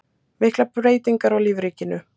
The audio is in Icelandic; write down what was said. Miklar breytingar á lífríkinu